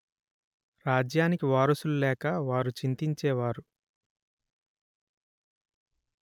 రాజ్యానికి వారసులు లేక వారు చింతిచేవారు